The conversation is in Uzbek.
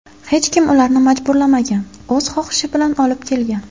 Hech kim ularni majburlamagan, o‘z xohishi bilan olib kelgan.